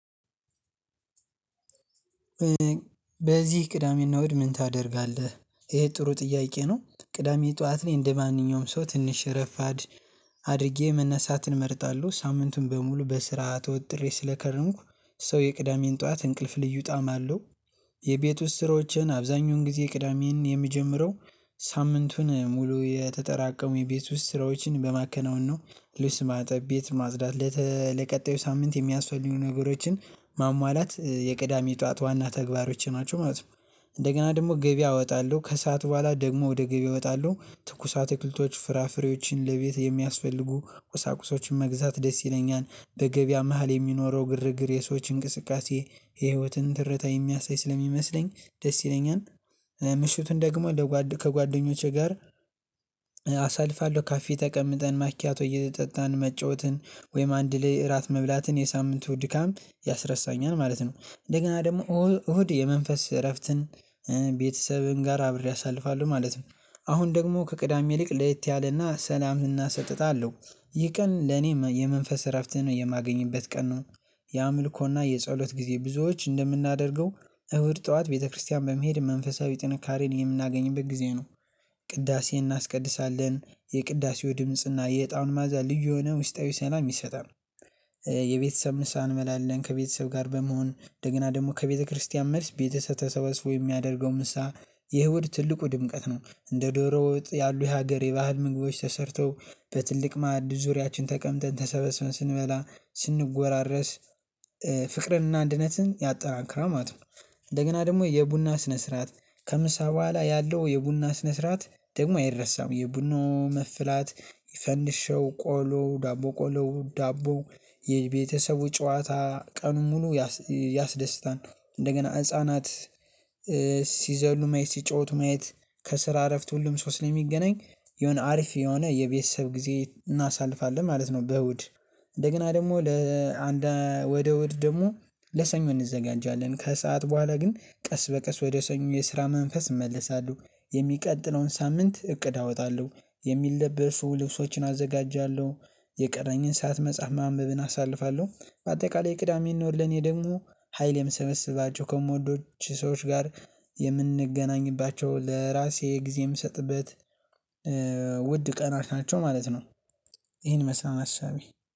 በዚህ ቅዳሜና እሁድ ምን ታደርጋለህ ይሄ ጥሩ ጥያቄ ነው። ቅዳሜ ጠዋት ላይ እንደማንኛውም ሰው ትንሽ ረፋድ። አድርጌ መነሳትን እመርጣለሁ ሳምንቱን በሙሉ በስራ ተወጥሬ ስለከረምኩ ሶ የቅዳሜን ጠዋት እንቅልፍ ልዩ ጣም አለው። የቤት ውስጥ ስሮችን አብዛኛውን ጊዜ ቅዳሜ ነው የምጀምረው። ሳምንቱን ሙሉ የተጠራቀሙ የቤት ውስጥ ስራዎችን በማከናወን ነው። ልብስ ማጠብ ቤት ማጽዳት ለቀጣዩ ሳምንት የሚያስፈልጉ ነገሮችን ማሟላት የቅዳሜ ጠዋት ዋና ተግባሮች ናቸው ማለት ነው። እንደገና ደግሞ ገቢያ አወጣለሁ ከሰአቱ በኋላ ደግሞ ወደ ገቢያ እወጣለሁ ትኩሳት አትክልቶች ፍራፍሬዎችን ለቤት የሚያስፈልጉ ቁሳቁሶችን መግዛት ደስ ይለኛል። በገበያ መሃል የሚኖረው ግርግር የሰዎች እንቅስቃሴ የህይወትን ትረታ የሚያሳይ ስለሚመስለኝ ደስ ይለኛል። ምሽቱን ደግሞ ከጓደኞቼ ጋር አሳልፋለሁ ካፌ ተቀምጠን ማኪያቶ እየጠጣን መጫወትን ወይም አንድ ላይ እራት መብላትን የሳምንቱ ድካም ያስረሳኛል ማለት ነው። እንደገና ደግሞ እሁድ የመንፈስ እረፍትን ቤተሰብን ጋር አብሬ አሳልፋለሁ ማለት ነው። አሁን ደግሞ ከቅዳሜ ልቅ ለየት ያለና ሰላምና ሰጥታ አለው። ይህ ቀን ለኔ የመንፈስ እረፍትህ ነው የማገኝበት ቀን ነው። ያ አምልኮና የጸሎት ጊዜ ብዙዎች እንደምናደርገው እሁድ ጠዋት ቤተክርስቲያን በመሄድ መንፈሳዊ ጥንካሬን የምናገኝበት ጊዜ ነው። ቅዳሴን እናስቀድሳለን የቅዳሴው ድምጽና የእጣኑ መዓዛ ልዩ የሆነ ውስጣዊ ሰላም ይሰጣል። የቤተሰብ ንስሃ እንመላለን ከቤተሰብ ጋር በመሆን እንደገና ደግሞ ከቤተክርስቲያን መልስ ቤተሰብ ተሰባስቦ የሚያደርገው ምሳ። የእሁድ ትልቁ ድምቀት ነው። እንደ ዶሮ ወጥ ያሉ ሀገር የባህል ምግቦች ተሰርተው በትልቅ ማዕድ ዙሪያችን ተቀምጠን ተሰበስበን ስንበላ ስንጎራረስ። ፍቅርንና ድነትን ያጠናክራል ማለት ነው። እንደገና ደግሞ የቡና ስነ ስርዓት። ከምሳ በኋላ ያለው የቡና ስነ ስርዓት ደግሞ አይረሳም። የቡኖ መፍላት ይፈንድሸው ቆሎ ዳቦ ቆሎ ዳቦ የቤተሰቡ ጨዋታ ቀኑን ሙሉ። ያስደስታል እንደገና ህፃናት ሲዘሉ ማየት ሲጫወቱ ማየት። ከስራ እረፍት ሁሉም ሰው ላይ የሚገናኝ የሆነ አሪፍ የሆነ የቤተሰብ ጊዜ እናሳልፋለን ማለት ነው። በእሁድ እንደገና ደግሞ ለአንድ ወደ እሁድ ደግሞ ለሰኞ እንዘጋጃለን ከሰአት በኋላ ግን ቀስ በቀስ ወደ ሰኞ የስራ መንፈስ እመለሳለሁ። የሚቀጥለውን ሳምንት እቅድ አወጣለሁ። የሚለበሱ ልብሶችን አዘጋጃለሁ። የቀረኝን ሰዓት መጽሐፍ ማንበብን አሳልፋለሁ በአጠቃላይ ቅዳሜ እና እሁድ ልኔ ደግሞ ሀይል የምሰበስባቸው ከምወደው ሰዎች ጋር የምንገናኝባቸው ለራሴ ጊዜ የምሰጥበት ውድ ቀናት ናቸው ማለት ነው። ይሄን ይመስላል